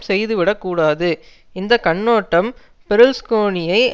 செய்துவிடக்கூடாது இந்த கண்ணோட்டம் பெருல்ஸ்கோனியை